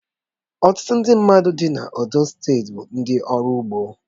Ọtụtụ ndị mmadụ dì na Ondo steeti bụ ndị ọrụ ugbo